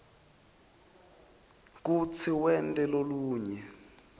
kutsi wente lolunye